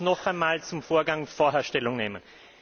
Aber ich muss noch einmal zum Vorgang vorher Stellung nehmen.